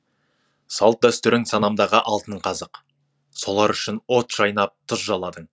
салт дәстүрің санамдағы алтын қазық солар үшін от шайнап тұз жаладың